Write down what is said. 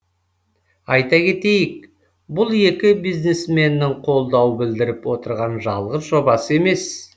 айта кетейік бұл екі бизнесменнің қолдау білдіріп отырған жалғыз жобасы емес